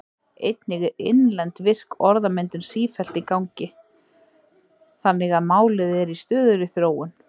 Einnig er innlend, virk orðmyndun sífellt í gangi þannig að málið er í stöðugri þróun.